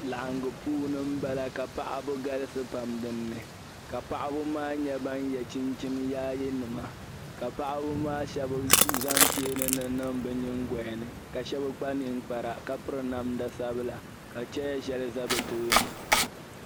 Laɣingu puuni bala ka paɣ'ba galisi pam di puuni ka paɣ'ba maa nyɛ ban ye chinchini yaayenima ka paɣ'ba maa shɛba zaŋ cheeni niŋ bɛ nyingoya ni ka shɛba kpa ninkpara ka piri namda sabila ka chɛya shɛli za bɛ tooni.